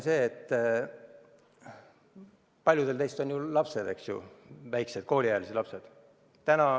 Paljudel teist on ju lapsed, väikesed kooliealised lapsed.